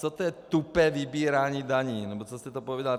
Co to je, tupé vybírání daní nebo co jste to povídal?